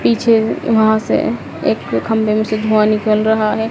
पीछे वहां से एक खंभे में से धुआ निकल रहा है।